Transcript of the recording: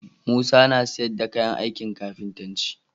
Musa na siyar da kayan ankin kafintanci